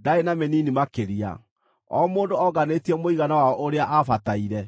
ndaarĩ na mĩnini makĩria. O mũndũ oonganĩtie mũigana wa ũrĩa aabataire.